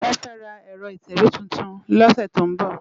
Wòn fè rá èrò itèwé tútún lòsè tó n bò